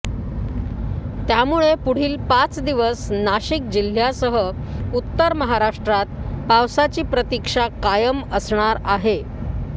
त्यामुळे पुढील पाच दिवस नाशिक जिल्ह्यासह उत्तर महाराष्ट्रात पावसाची प्रतीक्षा कायम असणार आहे